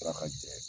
Tila ka jɛ